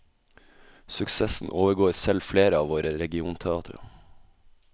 Suksessen overgår selv flere av våre regionteatre.